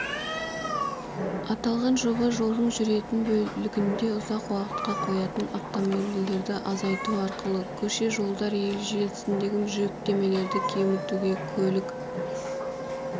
аталған жоба жолдың жүретін бөлігінде ұзақ уақытқа қоятын автомобильдерді азайту арқылы көше-жолдар желісіндегі жүктемелерді кемітуге көлік